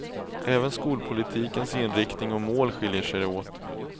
Även skolpolitikens inriktning och mål skiljer sig åt.